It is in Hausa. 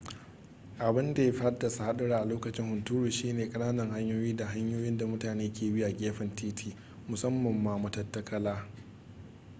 abin da ya fi haddasa hadura a lokacin hunturu shi ne kananan hanyoyi da hanyoyin da mutane ke bi a gefen titi musamman ma matattakala